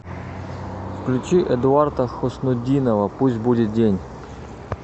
включи эдуарда хуснутдинова пусть будет день